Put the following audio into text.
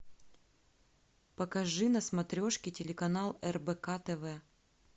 покажи на смотрешке телеканал рбк тв